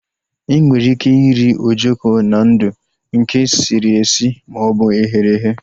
Enwere ike iri ojoko na ndụ, nke sịrị esi maọbụ eghere eghe